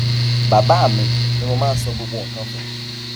bàbá mi ni mo máa ń sọ gbogbo nǹkan fún